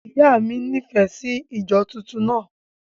Ìyá mi nífẹ̀ẹ́ sí ìjọ tuntun náà.